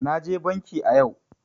Naje banki a yau.